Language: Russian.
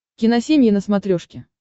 киносемья на смотрешке